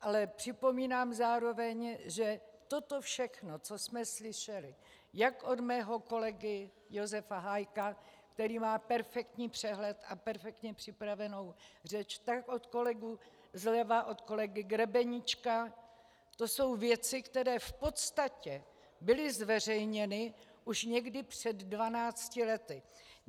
Ale připomínám zároveň, že toto všechno, co jsme slyšeli jak od mého kolegy Josefa Hájka, který má perfektní přehled a perfektně připravenou řeč, tak od kolegy zleva, od kolegy Grebeníčka, to jsou věci, které v podstatě byly zveřejněny už někdy před 12 lety.